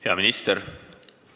Hea minister!